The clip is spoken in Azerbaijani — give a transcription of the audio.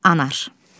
Anar.